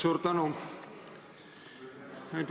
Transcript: Suur tänu!